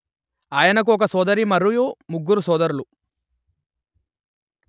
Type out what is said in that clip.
ఆయనకు ఒక సోదరి మరియు ముగ్గురు సోదరులు